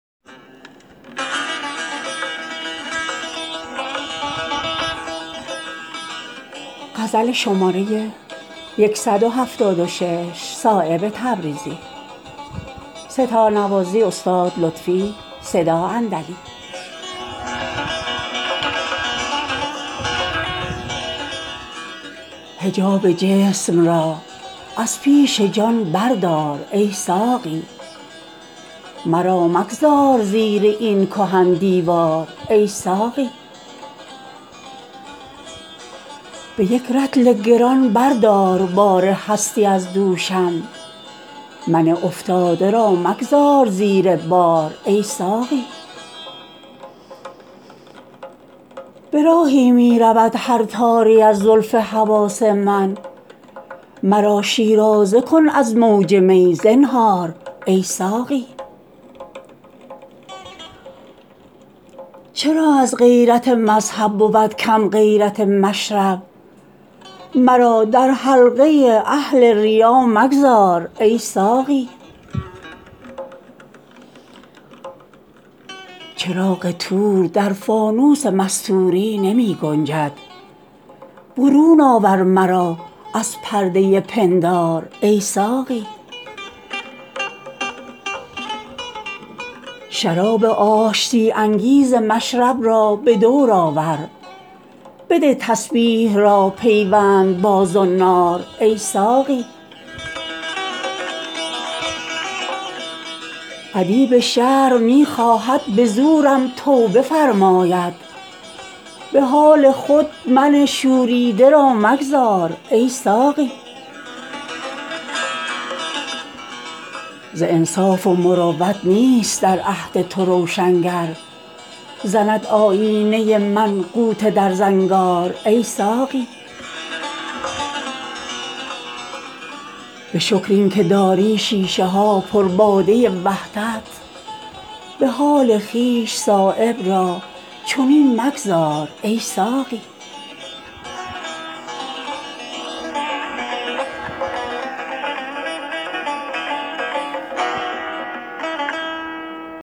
حجاب جسم را از پیش جان بردار ای ساقی مرا مگذار زیر این کهن دیوار ای ساقی به تنگم از وجود خود شرابی آرزو دارم که زور او شکافد شیشه را چون نار ای ساقی می انگوری تنها مرا از پا نیندازد سراسر باغ را بر یکدگر بفشار ای ساقی برهنه روی می خواهم ببینم دختر رز را حجاب شیشه و پیمانه را بردار ای ساقی به یک رطل گران بردار بار هستی از دوشم من افتاده را مگذار زیر بار ای ساقی به راهی می رود هر تاری از زلف حواس من مرا شیرازه کن از موج می زنهار ای ساقی چرا از غیرت مذهب بود کم غیرت مشرب مرا در حلقه اهل ریا مگذار ای ساقی چراغ طور در فانوس مستوری نمی گنجد برون آور مرا از پرده پندار ای ساقی شراب آشتی انگیز مشرب را به دورآور بده تسبیح را پیوند با زنار ای ساقی ادیب شرع می خواهد به زورم توبه فرماید به حال خود من شوریده را مگذار ای ساقی ز انصاف و مروت نیست در عهد تو روشنگر زند آیینه من غوطه در زنگار ای ساقی ندارد بازگشتی کفر و دین غیر از سر کویش به دریا می رود هر سیلی از کهسار ای ساقی به شکر این که داری شیشه ها پر باده وحدت به حال خویش صایب را چنین مگذار ای ساقی